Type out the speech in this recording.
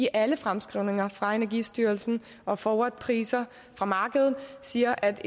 alle fremskrivninger fra energistyrelsen og forwardpriser fra markedet jo siger at